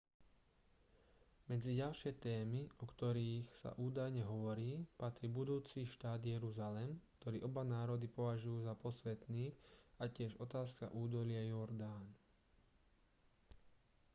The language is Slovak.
medzi ďalšie témy o ktorých sa údajne hovorí patrí budúci štát jeruzalem ktorý oba národy považujú za posvätný a tiež otázka údolia jordán